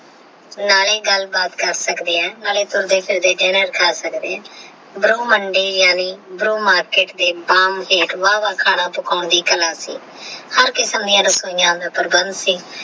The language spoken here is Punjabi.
ਨਾਲੇ ਗੱਲ ਬਾਤ ਕਰ ਸਕਦੇ ਹਾਂ ਨਾਲੇ ਤੋਰਦੇ ਫਿਰਦੇ ਖਾ ਸਕਦੇ ਹਾਂ ਬਰੋ ਮੰਡੀ ਯਾਨੀ ਬਰੋ ਮਾਰਕੀਟ ਦੇ ਹੇਠ ਵਾਵਾ ਕਲਾ ਦਿਖਾਉਣਾ ਦੀ ਹਰ ਕਿਸਮ ਦੀਆ ਰਸੋਈਆ ਦਾ ਪ੍ਰਬੰਧ ਸੀ।